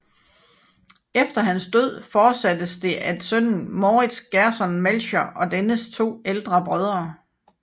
Efter hans død fortsattes det af sønnen Moritz Gerson Melchior og dennes to ældre brødre